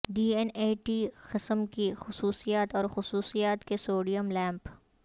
D N A T قسم کی خصوصیات اور خصوصیات کے سوڈیم لیمپ